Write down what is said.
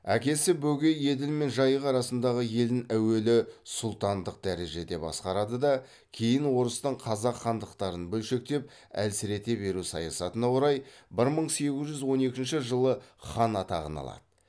әкесі бөкей еділ мен жайық арасындағы елін әуелі сұлтандық дәрежеде басқарады да кейін орыстың қазақ хандықтарын бөлшектеп әлсірете беру саясатына орай бір мың сегіз жүз он екінші жылы хан атағын алады